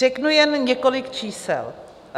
Řeknu jen několik čísel.